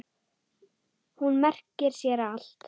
Hún merkir sér allt.